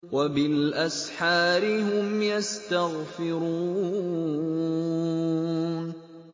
وَبِالْأَسْحَارِ هُمْ يَسْتَغْفِرُونَ